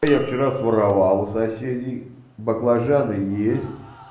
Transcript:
я вчера своровал у соседей баклажаны есть